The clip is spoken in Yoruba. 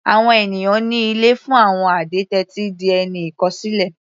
Àwọn ènìyàn ní ilé fún àwọn adẹ́tẹ̀ ti di ẹni ìkọ̀sílẹ̀.